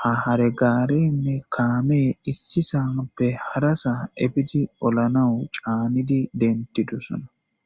ha haregaarenne kaamee issisappe harasa ebidi olanawu caannidi dentidosana.